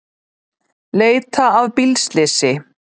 Leita að bílslysi